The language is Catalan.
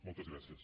moltes gràcies